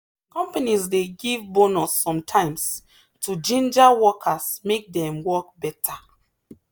companies dey give bonus sometimes to ginger workers make dem work better.